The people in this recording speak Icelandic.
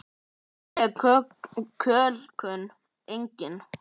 Andleg kölkun: engin.